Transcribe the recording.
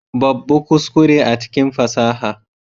Babbu kuskure a cikin fasaha.